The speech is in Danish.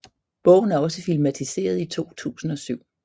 Bogen er også filmatiseret i 2007